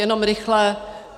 Jenom rychle.